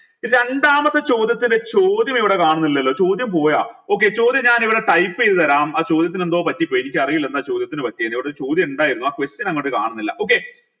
രണ്ടാമത്തെ ചോദ്യത്തിന് ചോദ്യം ഇവിടെ കാണുന്നില്ലല്ലോ ചോദ്യം പോയ okay ചോദ്യം ഞാനിവിടെ type ചെയ്ത് തരാം ചോദ്യത്തിന് എന്തോ പറ്റിപ്പോയി എനിക്കറീല എന്താ ചോദ്യത്തിന് പറ്റിയെ എന്ന് ഇവിടൊരു ചോദ്യം ഇണ്ടായിരുന്നു ആ question അങ്ങോട്ട് കാണുന്നില്ല